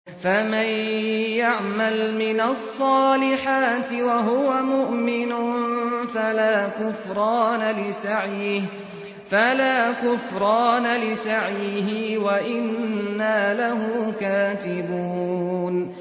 فَمَن يَعْمَلْ مِنَ الصَّالِحَاتِ وَهُوَ مُؤْمِنٌ فَلَا كُفْرَانَ لِسَعْيِهِ وَإِنَّا لَهُ كَاتِبُونَ